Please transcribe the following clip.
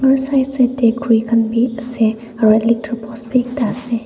aro side side dae khuri khan bhi ase aro electric post bhi ekta ase.